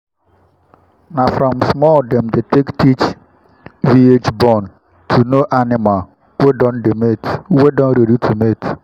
na from small dem take dey teach viage born how to know animal wey don ready to mate.